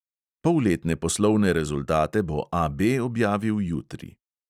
Polletne poslovne rezultate bo AB objavil jutri.